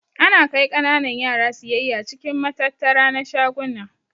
Ana kai kananan yara siyayya cikin matattara na shaguna.